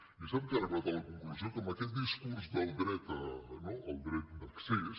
i sap què he arribat a la conclusió que amb aquest discurs del dret no del dret d’accés